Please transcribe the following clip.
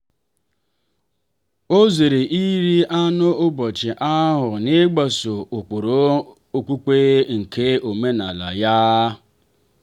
ọ zere iri anụ n'ụbọchị ahụ n'ịgbaso ụkpụrụ okpukpe nke omenala ya.